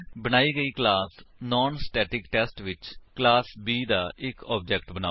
ਬਣਾਈ ਗਈ class non static test ਵਿੱਚ ਕਲਾਸ B ਦਾ ਇੱਕ ਆਬਜੇਕਟ ਬਨਾਓ